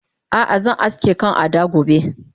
Ah ah zan aske kan Ada gobe